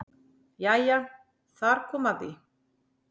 Jæja þar kom að því.